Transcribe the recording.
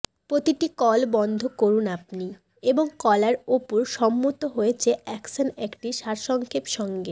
প্রতিটি কল বন্ধ করুন আপনি এবং কলার উপর সম্মত হয়েছে অ্যাকশন একটি সারসংক্ষেপ সঙ্গে